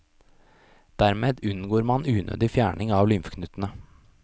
Dermed unngår man unødig fjerning av lymfeknutene.